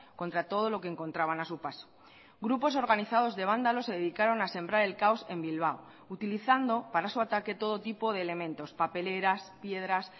contra todo lo que encontraban a su paso grupos organizados de vándalos se dedicaron a sembrar el caos en bilbao utilizando para su ataque todo tipo de elementos papeleras piedras